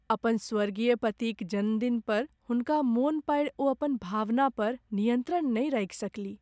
अपन स्वर्गीय पतिक जनमदिन पर हुनका मोन पाड़ि ओ अपन भावना पर नियन्त्रण नहि राखि सकलीह।